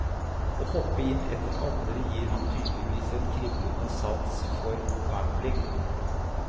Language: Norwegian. Å hoppe inn etter andre gir ham tydeligvis en kriblende sans for gambling.